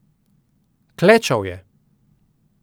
Klečal je.